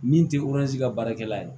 Min tɛ ka baarakɛla ye